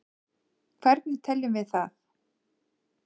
hvernig teljum við það